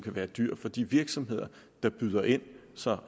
være dyr for de virksomheder der byder ind altså